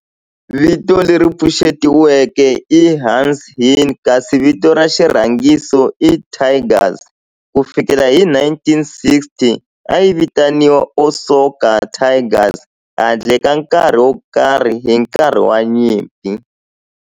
Vito leri pfuxetiweke i"Hanshin" kasi vito ra xirhangiso i"Tigers". Ku fikela hi 1960, a yi vitaniwa Osaka Tigers handle ka nkarhi wo karhi hi nkarhi wa nyimpi.